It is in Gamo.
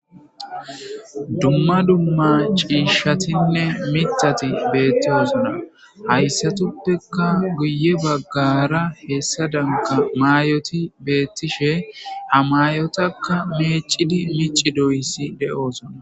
Dumma dumma cishatinne mithati betosona haysatupeka guye bagara hes danaka mayoti betishe ha mayotakka mecidid micidoysa de'osona